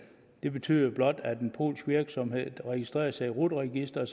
det betyder jo blot at en polsk virksomhed der registrerer sig i rut registeret